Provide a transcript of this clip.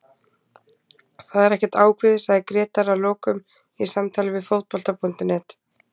Það er ekkert ákveðið, sagði Grétar að lokum í samtali við Fótbolta.net.